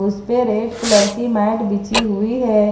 इस पे red colour की मैट बिछी हुई है।